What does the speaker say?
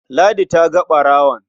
Ladi ta ga ɓarawon.